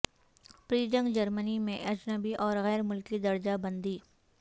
پری جنگ جرمنی میں اجنبی اور غیر ملکی درجہ بندی